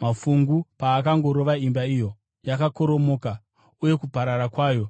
Mafungu paakangorova imba iyo, yakakoromoka uye kuparara kwayo kwakava kukuru.”